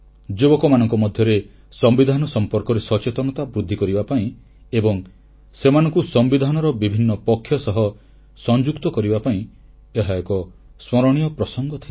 ଯୁବକମାନଙ୍କ ମଧ୍ୟରେ ସମ୍ବିଧାନ ସମ୍ପର୍କରେ ସଚେତନତା ବୃଦ୍ଧି କରିବା ପାଇଁ ଏବଂ ସେମାନଙ୍କୁ ସମ୍ବିଧାନର ବିଭିନ୍ନ ପକ୍ଷ ସହ ସଂଯୁକ୍ତ କରିବା ପାଇଁ ଏହା ଏକ ସ୍ମରଣୀୟ ପ୍ରସଙ୍ଗ ଥିଲା